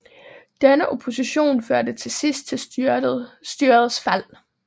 Denne opposition førte til sidst til styrets fald